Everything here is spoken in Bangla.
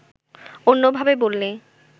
অন্যভাবে বললে